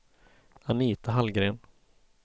Anita Hallgren